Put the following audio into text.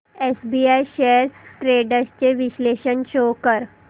SBI shares trends चे विश्लेषण show कर